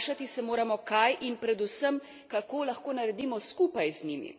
Vprašati se moramo, kaj in predvsem, kako lahko naredimo skupaj z njimi.